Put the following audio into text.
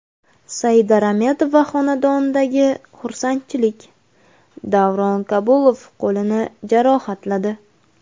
Saida Rametova xonadonidagi xursandchilik, Davron Kabulov qo‘lini jarohatladi.